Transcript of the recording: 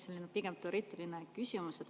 See on pigem teoreetiline küsimus.